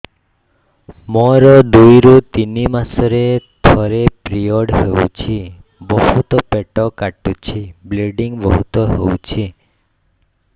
ମୋର ଦୁଇରୁ ତିନି ମାସରେ ଥରେ ପିରିଅଡ଼ ହଉଛି ବହୁତ ପେଟ କାଟୁଛି ବ୍ଲିଡ଼ିଙ୍ଗ ବହୁତ ହଉଛି